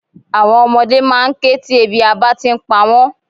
Àwon ọmọdé máa n ké ti ebi abá ti n pa wón